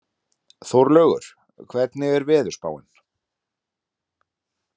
Þórlaugur, hvernig er veðurspáin?